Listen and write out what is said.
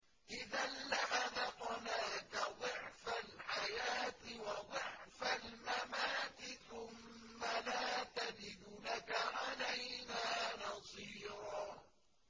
إِذًا لَّأَذَقْنَاكَ ضِعْفَ الْحَيَاةِ وَضِعْفَ الْمَمَاتِ ثُمَّ لَا تَجِدُ لَكَ عَلَيْنَا نَصِيرًا